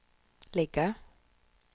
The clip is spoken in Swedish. ligga